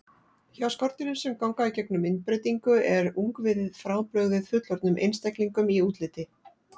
Hjá skordýrum sem ganga í gegnum myndbreytingu er ungviðið frábrugðið fullorðnum einstaklingum í útliti.